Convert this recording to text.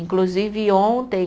Inclusive, ontem